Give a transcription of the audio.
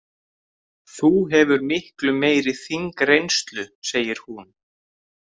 Þú hefur miklu meiri þingreynslu, segir hún.